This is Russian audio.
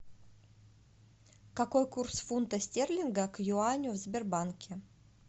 какой курс фунта стерлинга к юаню в сбербанке